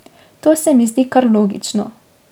To se mi zdi kar logično.